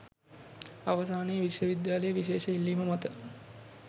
අවසානයේ විශ්ව විද්‍යාලයේ විශේෂ ඉල්ලීම මත